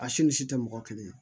A si ni si tɛ mɔgɔ kelen